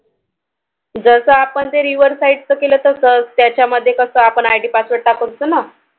जस आपण ते Riverside च केले तसाच त्याच्या मध्ये कस आपण IDpassword टाकून करतो ना,